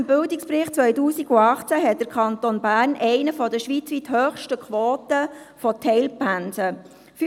Gemäss Bildungsbericht 2018 hat der Kanton Bern eine der schweizweit höchsten Quoten an Teilpensen.